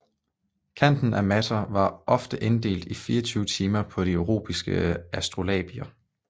Kanten af mater var ofte inddelt i 24 timer på de europæiske astrolabier